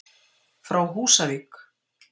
Frá Húsavík.